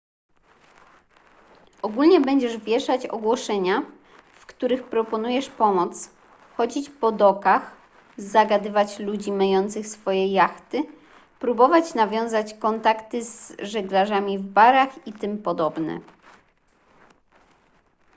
ogólnie będziesz wieszać ogłoszenia w których proponujesz pomoc chodzić po dokach zagadywać ludzi myjących swoje jachty próbować nawiązywać kontakty z żeglarzami w barach itp